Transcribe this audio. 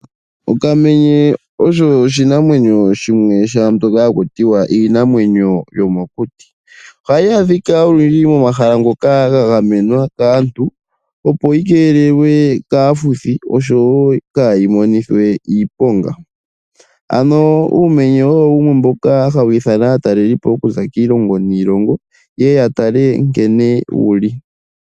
Okamenye osho oshinamwenyo shimwe shaa mbyoka haku tiwa iinamwenyo yomokuti. Ohayi adhika olundji momahala ngoka ga gamenwa kaantu opo yi keelelwe kaafuthi oshowo kaayi monithwe iiponga. Ano uumenye owo wumwe mboka hawu ithana aatalelipo okuza kiilongo niilongo ye ye ya tale nkene wu li.